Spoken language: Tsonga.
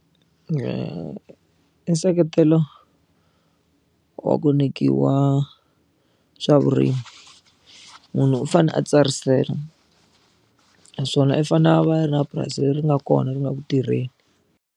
I nseketelo wa ku nyikiwa swa vurimi munhu u fanele a tsarisela naswona i fanele a va a ri na purasi leri nga kona ri nga ku tirheni.